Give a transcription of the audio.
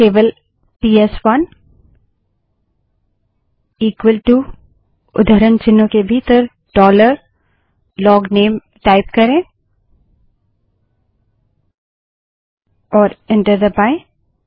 केवल पीएसवनबड़े अक्षर में इक्वल टू उद्धरण चिन्हों के भीतर डॉलर लोगनेल टाइप करें और एंटर दबायें